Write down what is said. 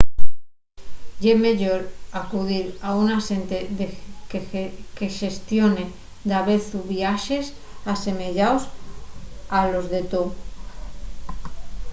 ye meyor acudir a un axente que xestione davezu viaxes asemeyaos a los de to